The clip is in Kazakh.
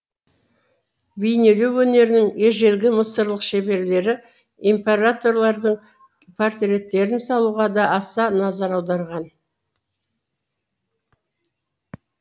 бейнелеу өнерінің ежелгі мысырлық шеберлері императорлардың портреттерін салуға да аса назар аударған